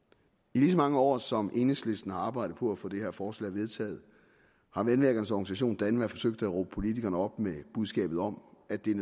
i lige så mange år som enhedslisten har arbejdet på at få det her forslag vedtaget har vandværkernes organisation danva forsøgt at råbe politikerne op med budskabet om at det er